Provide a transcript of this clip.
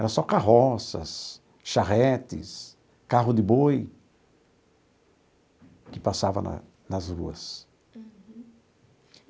Era só carroças, charretes, carro de boi que passava na nas ruas.